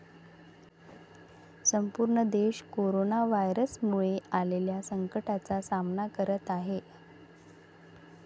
संपूर्ण देश कोरोना व्हायरसमुळे आलेल्या संकटाचा सामना करत आहे.